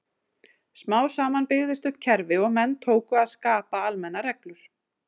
Smám saman byggðist upp kerfi og menn tóku að skapa almennar reglur.